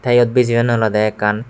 te iyot bijiyonne olode ekkan.